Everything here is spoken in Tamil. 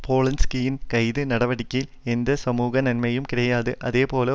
போலன்ஸ்கியின் கைது நடவடிக்கையில் எந்த சமூக நன்மையையும் கிடையாது அதேபோல